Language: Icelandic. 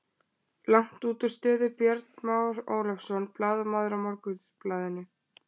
Langt útúr stöðu Björn Már Ólafsson, blaðamaður á Morgunblaðinu.